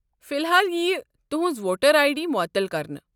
فلحال ییہِ تہنٛز ووٹرآے ڈی معتل كرنہٕ۔